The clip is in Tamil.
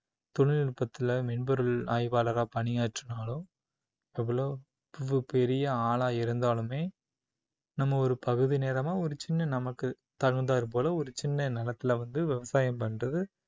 தொழில்நுட்பத்துல மென்பொருள் ஆய்வாளரா பணியாற்றினாலும் எவ்ளோ பெரிய ஆளா இருந்தாலுமே நம்ம ஒரு பகுதி நேரமா ஒரு சின்ன நமக்கு தகுந்தாற் போல ஒரு சின்ன நிலத்துலவ் அந்து விவசாயம் பண்றது